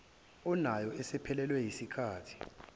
onayo isiphelelwe yisikhathi